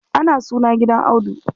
Ana suna gidan Audu.